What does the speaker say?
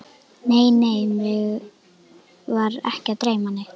Nei, nei, mig var ekki að dreyma neitt.